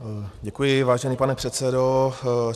Děkuji, vážený pane předsedo.